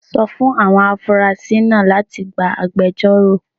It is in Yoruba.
Sọ fún àwọn afurasí náà láti gba agbẹjọ́rò